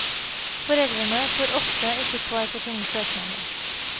Foreldrene får ofte ikke svar på sine søknader.